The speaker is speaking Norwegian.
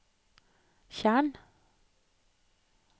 tjern